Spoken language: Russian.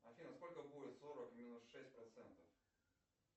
афина сколько будет сорок минус шесть процентов